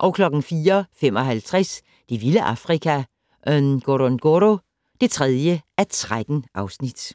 04:55: Det vilde Afrika - Ngorongoro (3:13)